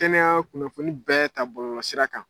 Kɛnɛya kunnafoni bɛɛ ta bɔlɔsira kan.